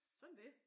Sådan er det